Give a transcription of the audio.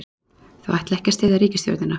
Þau ætla ekki að styðja ríkisstjórnina